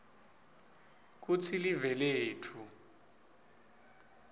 kutsi live letfu